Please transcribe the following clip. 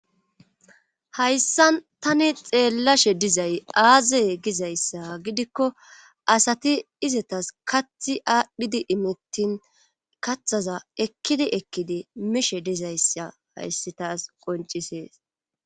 hayssan tani xeellashe dizay aazey gizayssa gidikko asati izetas kathi aadhdhidi imittin kathaza ekkidi ekkidi mishe dizayssa hayssi taas qoncisees